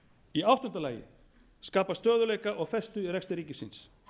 í áttunda lagi skapa stöðugleika og festu í rekstri ríkisins